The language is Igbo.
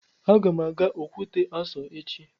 Aga m aga Okwute Aso echi